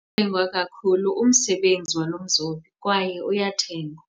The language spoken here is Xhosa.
Uyathengwa kakhulu umsebenzi walo mzobi kwaye uyathengwa.